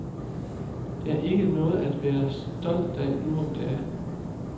Det er ikke noget at være stolt af nu om dage.